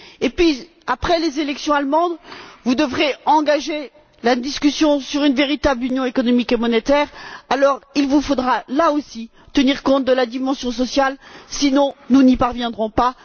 Puis, après les élections allemandes, vous devrez engager la discussion sur une véritable Union économique et monétaire. Alors, il vous faudra, là aussi, tenir compte de la dimension sociale, sinon nous n'y parviendrons pas.